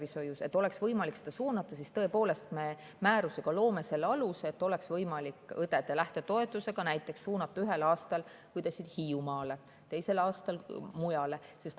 Selleks, et oleks võimalik suunata, me määrusega loome aluse, et oleks võimalik õdede lähtetoetuse abil näiteks ühel aastal suunata õdesid Hiiumaale, teisel aastal mujale.